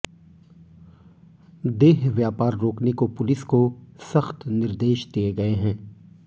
देह व्यापार रोकने को पुलिस को सख्त निर्देश दिए गए है